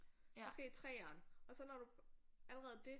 Måske 3'eren og så når du allerede det